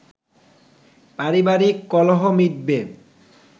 পারিবারিক কলহ মিটবে